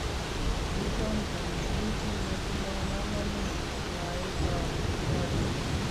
"kiibon kou kiit nematindo kamanuut ", mwae chon kikasuub